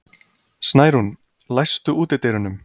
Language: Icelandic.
Snærún, læstu útidyrunum.